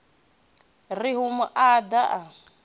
ri u mu nuḓa a